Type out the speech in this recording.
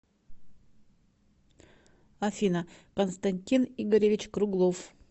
афина константин игоревич круглов